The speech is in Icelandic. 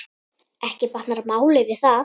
Ekki batnar málið við það.